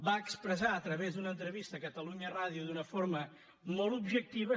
va expressar a través d’una entrevista a catalunya ràdio d’una forma molt objectiva